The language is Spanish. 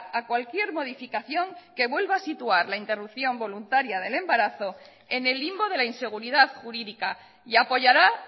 a cualquier modificación que vuelva a situar la interrupción voluntaria del embarazo en el limbo de la inseguridad jurídica y apoyará